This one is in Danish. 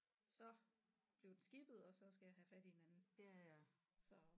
Så blev den skippet og så skal jeg have fat i en anden så